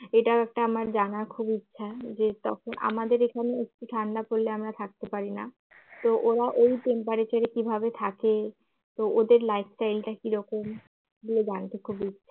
এটা একটা আমার একটা জানার খুবই ইচ্ছা যে তখন আমাদের এখানে একটু ঠান্ডা পড়লে আমরা থাকতে পারিনা তো ওরা ওই temperature রে কিভাবে থাকে তো ওদের life style টা কিরকম এগুলো জানতে খুবই